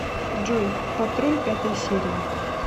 джой патруль пятая серия